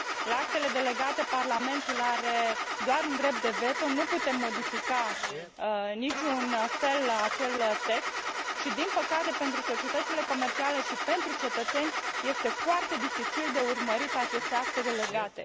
La actele delegate Parlamentul are doar un drept de veto nu putem modifica în niciun fel acel text și, din păcate pentru societățile comerciale și pentru cetățeni, este foarte dificil de urmărit aceste acte delegate.